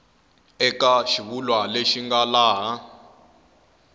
eka xivulwa lexi nga laha